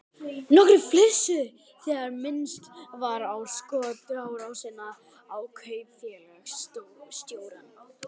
Nokkrir flissuðu þegar minnst var á skotárásina á kaupfélagsstjórann.